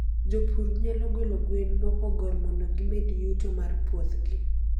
jopur nyalo golo gwen mopogor mondo kimed yuto mar puothgi